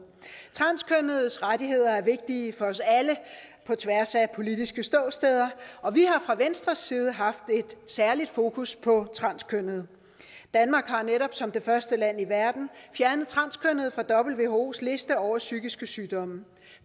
transkønnedes rettigheder er vigtige for os alle på tværs af politiske ståsteder og vi har fra venstres side haft et særligt fokus på transkønnede danmark har netop som det første land i verden fjernet transkønnede fra whos liste over psykiske sygdomme